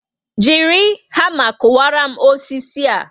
Jiri hama kuwara m osisi a